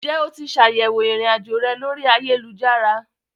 Ǹjẹ́ o ti ṣ'àyẹ̀wò irinajo rẹ lórí ayélujára?